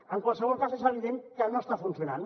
en qualsevol cas és evident que no està funcionant